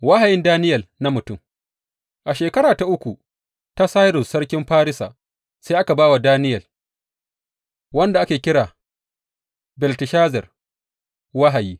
Wahayin Daniyel na mutum A shekara ta uku ta Sairus sarkin Farisa, sai aka ba wa Daniyel wanda ake kira Belteshazar wahayi.